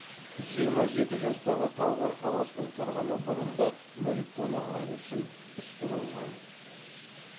жиырма жеті жастағы талғар қаласының тұрғыны бұрын да мүлік тонағаны үшін істі болған